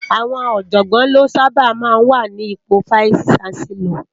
Awòn òjògbòn lò sàbá má wá ni ipó Fáìsí Ṣánsèlòr